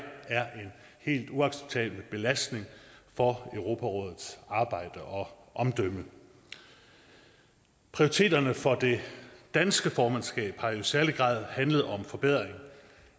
er en helt uacceptabel belastning for europarådets arbejde og omdømme prioriteterne for det danske formandskab har i særlig grad handlet om forbedring